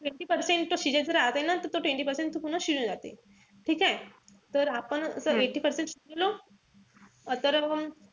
Eighty percent तो शिजेपर्यंत आले ना कि तो twenty percent पर्यंत पूर्ण शिजून जाते. ठीकेय? तर आपण जर eighty percent शिजली,